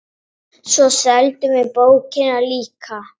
Svo seldum við bókina líka.